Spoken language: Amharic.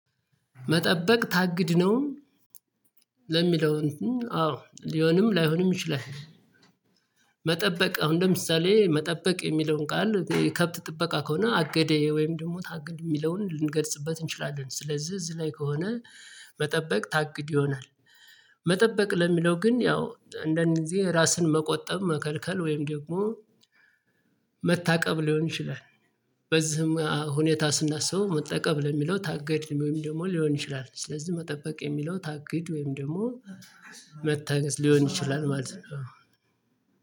መጠበቅ ታግድ ነው ለሚለው አዎ ሊሆንም ላይሆንም ይችላል። መጠበቅ አሁን ለምሳሌ መጠበቅ የሚለውን ቃል ከብት ጥበቃ ከሆነ አገደዬ ወይም ደግሞ ታግድ የሚለውን ልንገርጽበት እንችላለን። ስለዚህ እዝ ላይ ከሆነ መጠበቅ ታግድ ይሆናል። መጠበቅ ለሚለው ግን ያው እንደን ጊዜ ራስን መቆጠብ መከልከል ወይም ደግሞ መታቀብ ሊሆን ይችላል። በዚህም ሁኔታ ስናስበው መታቀብ ለሚለው ታገድ ወይም ደግሞ ሊሆን ይችላል። ስለዚህ መጠበቅ የሚለው ታግድ ወይም ደግሞ መታገስ ሊሆን ይችላል ማለት ነው።